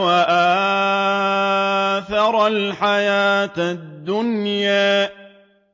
وَآثَرَ الْحَيَاةَ الدُّنْيَا